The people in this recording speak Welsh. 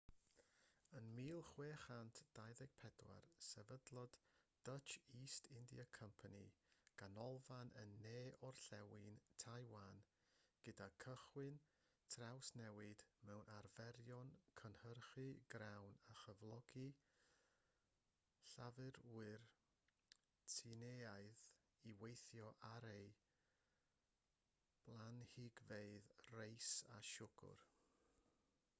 yn 1624 sefydlodd dutch east india company ganolfan yn ne-orllewin taiwan gan gychwyn trawsnewid mewn arferion cynhyrchu grawn a chyflogi llafurwyr tsieineaidd i weithio ar ei blanhigfeydd reis a siwgr